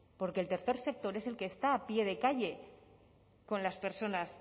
porque el tercer sector es el que está a pie de calle con las personas